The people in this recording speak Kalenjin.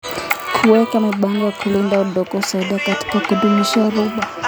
Kuweka mipango ya kulinda udongo husaidia katika kudumisha rutuba.